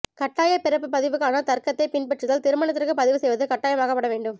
கட்டாய பிறப்பு பதிவுக்கான தர்க்கத்தைப் பின்பற்றுதல் திருமணத்திற்குப் பதிவு செய்வது கட்டாயமாக்கப்பட வேண்டும்